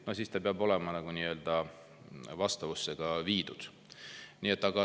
No siis see peab olema vastavusse viidud.